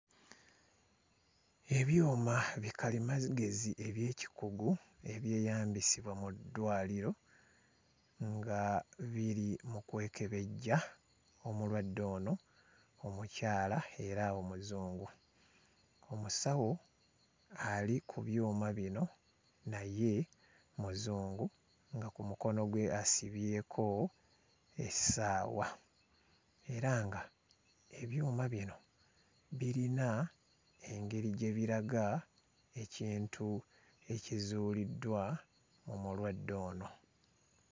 Ebyuma bikalimagezi eby'ekikugu ebyeyambisibwa mu ddwaliro nga biri mu kwekebejja omulwadde ono omukyala era Omuzungu. Omusawo ali ku byuma bino naye Muzungu nga ku mukono gwe asibyeko essaawa. Era nga ebyuma bino birina engeri gye biraga ekintu ekizuuliddwa mu mulwadde ono.